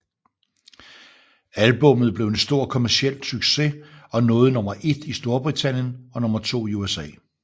Albummet blev en stor kommerciel succes og nåede nummer et i Storbritannien og nummer to i USA